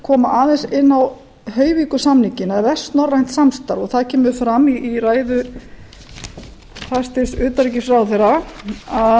koma aðeins inn á hoyvíkursamninginn eða vestnorrænt samstarf og það kemur fram í ræðu hæstvirts utanríkisráðherra að